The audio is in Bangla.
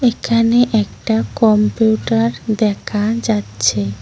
এখানে একটা কম্পিউটার দেখা যাচ্ছে।